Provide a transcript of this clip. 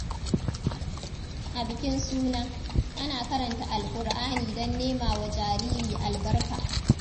A bikin suna, ana karanta Alƙur’ani don nema wa jariri albarka.